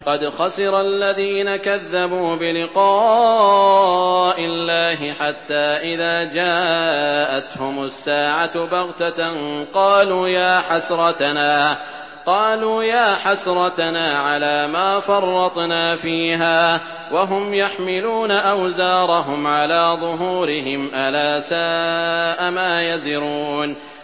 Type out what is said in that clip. قَدْ خَسِرَ الَّذِينَ كَذَّبُوا بِلِقَاءِ اللَّهِ ۖ حَتَّىٰ إِذَا جَاءَتْهُمُ السَّاعَةُ بَغْتَةً قَالُوا يَا حَسْرَتَنَا عَلَىٰ مَا فَرَّطْنَا فِيهَا وَهُمْ يَحْمِلُونَ أَوْزَارَهُمْ عَلَىٰ ظُهُورِهِمْ ۚ أَلَا سَاءَ مَا يَزِرُونَ